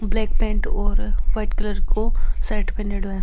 Black pant और white colour को shirt पहनडॉ है।